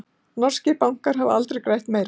Norskir bankar hafa aldrei grætt meira